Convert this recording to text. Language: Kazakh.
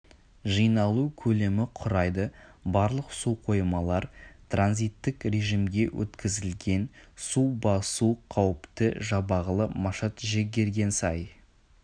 жиналу көлемі құрайды барлық су қоймалар транзиттік режимге өткізілген су басу қауіпті жабағлы машат жігергенсай